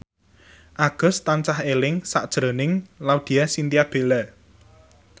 Agus tansah eling sakjroning Laudya Chintya Bella